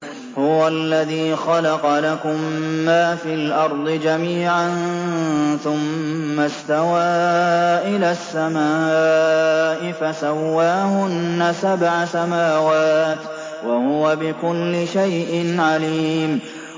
هُوَ الَّذِي خَلَقَ لَكُم مَّا فِي الْأَرْضِ جَمِيعًا ثُمَّ اسْتَوَىٰ إِلَى السَّمَاءِ فَسَوَّاهُنَّ سَبْعَ سَمَاوَاتٍ ۚ وَهُوَ بِكُلِّ شَيْءٍ عَلِيمٌ